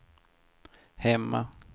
hemma